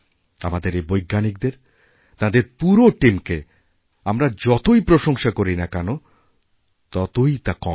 আমাদের এই বৈজ্ঞানিকদের তাঁদেরপুরো টীমকে আমরা যতই প্রশংসা করি না কেন ততই তা কম হবে